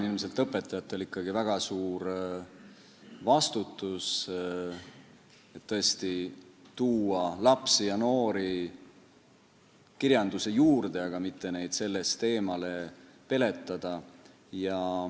Siin on õpetajatel ilmselt ikkagi väga suur vastutus, et tuua lapsi ja noori kirjanduse juurde, aga mitte neid sellest eemale peletada.